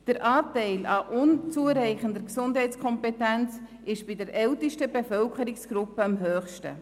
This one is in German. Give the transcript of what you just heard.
Der Anteil der Personen mit unzureichender Gesundheitskompetenz ist bei der ältesten Bevölkerungsgruppe am höchsten.